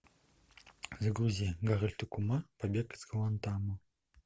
загрузи гарольд и кумар побег из гуантанамо